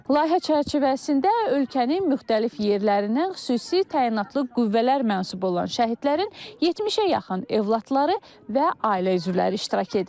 Layihə çərçivəsində ölkənin müxtəlif yerlərindən xüsusi təyinatlı qüvvələr mənsubu olan şəhidlərin 70-ə yaxın övladları və ailə üzvləri iştirak edir.